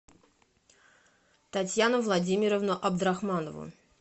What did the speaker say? татьяну владимировну абдрахманову